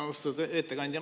Austatud ettekandja!